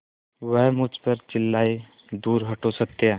वह मुझ पर चिल्लाए दूर हटो सत्या